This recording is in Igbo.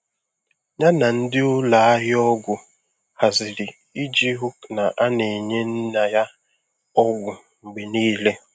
Ya na ndi ụlọ ahịa ọgwụ haziri iji hụ na a na-enye nna ya ọgwụ mgbe niile.